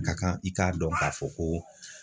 Ka kan i k'a dɔn k'a fɔ ko